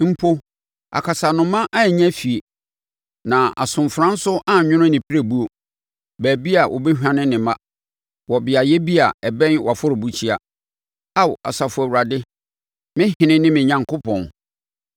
Mpo akasanoma anya fie, na asomfena nso anwono ne pirebuo, baabi a ɔbɛhwane ne mma wɔ beaeɛ bi a ɛbɛn wʼafɔrebukyia, Ao Asafo Awurade, me Ɔhene ne me Onyankopɔn.